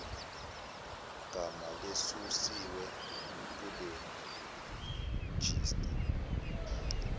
gama lesusiwe kulejista